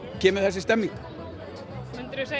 kemur þessi stemming myndirðu segja